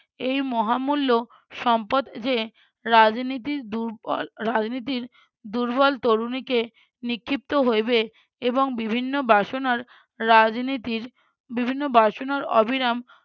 এই মহামূল্য সম্পদ যে রাজনীতির দুর্বল রাজনীতির দুর্বল তরুণীকে নিক্ষিপ্ত হইবে এবং বিভিন্ন বাসনার রাজনীতির বিভিন্ন বাসনার অবিরাম